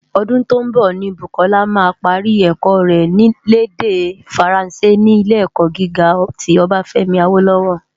Ódún tó nbò ni Bukola má pári èkò rè l' èdè Fáránsé ni Ilé-èkò gigá ti Obafemi Awolowo.